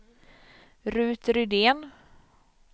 Rut Rydén